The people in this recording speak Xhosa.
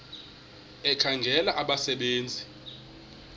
ekhangela abasebe nzi